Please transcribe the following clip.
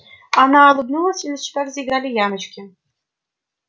она улыбнулась и на щеках заиграли ямочки